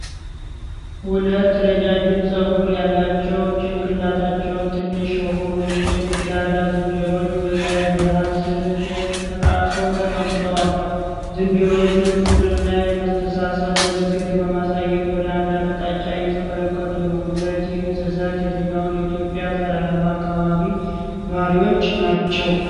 ሁለት ረጃጅም ፀጉር ያላቸው ጭንቅላታቸው ትንሽ የሆኑ ጌላዳ ዝንጀሮዎች በፀሐይ ብርሃን ስር ተቃቅፈው ተቀምጠዋል። ዝንጀሮዎቹ የፍቅርና የመተሳሰብ ምልክት በማሳየት ወደ አንድ አቅጣጫ እየተመለከቱ ነው። እነዚህ እንስሳት የትኛው የኢትዮጵያ ተራራማ አካባቢ ነዋሪዎች ናቸው?